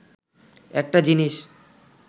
একটা জিনিস